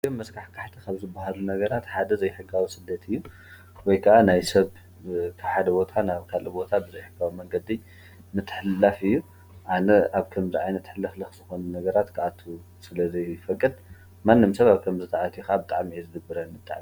ኣዝዮም መስካሕካሕቲ ካብ ዝባሃሉ ነገራት ሓደ ዘይሕጋዊ ስደት እዩ ወይከዓ ናይ ሰብ ካብ ሓደ ቦታ ናብ ካሊእ ቦታ ብዘሕጋዊ መንገዲ ምትሕልላፍ እዩ፤ ኣነ ኣብ ከምዚ ዓይነት ሕልክልክ ዝኮነ ነገራት ከኣቱ ስለዝይፍቅድ ማንም ሰብ ኣብ ከምዚ እንተኣትዩ ከዓ ብጣዕሚ እዩ ዝድብረኒ።